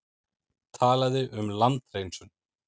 Talaði um landhreinsun.